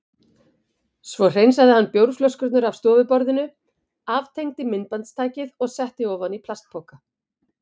Svo hreinsaði hann bjórflöskurnar af stofuborðinu, aftengdi myndbandstækið og setti ofan í plastpoka.